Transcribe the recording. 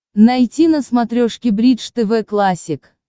найти на смотрешке бридж тв классик